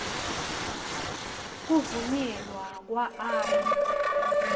kuvunyelwa kwa r